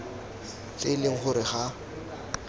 tse e leng gore ga